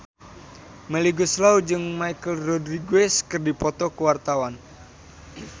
Melly Goeslaw jeung Michelle Rodriguez keur dipoto ku wartawan